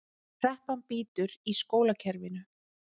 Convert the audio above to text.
Kreppan bítur í skólakerfinu